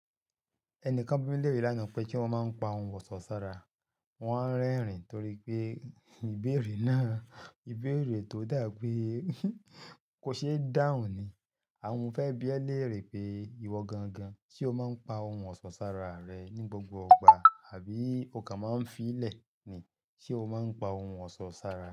Ẹnikan bi mi léèrè lánàá pé se mọ máa ń pa ohun ọ̀sọ́ sára, wọ́n wa rẹ́rìn torí pé ìbéèrè náà, ìbéèrè tó dà pé kò ṣe é dáhùn ni. Ohun mo fẹ́ bi ẹ léèrè pé ìwọ gangan ṣe o máa ń pa ohun ọ̀sọ́ sára rẹ ní gbogbo igbà àbí o kan máa ń fi í lẹ̀ ni? Ṣé o máa ń pa ohun ọ̀sọ́ sára?